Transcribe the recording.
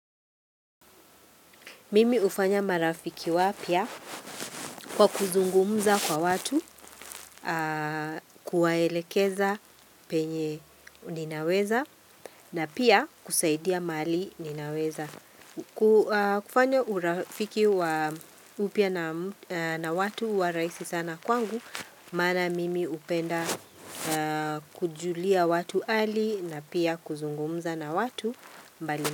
Mimi hufanya marafiki wapya kwa kuzungumza kwa watu, kuwaelekeza penye ninaweza na pia kusaidia mahali ninaweza. Kufanya urafiki wa upya na watu huwa raisi sana kwangu, maana mimi hupenda kujulia watu hali na pia kuzungumza na watu mbali.